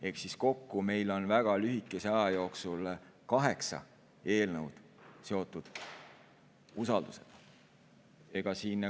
Ehk kokku on meil väga lühikese aja jooksul kaheksa eelnõu seotud usaldusega.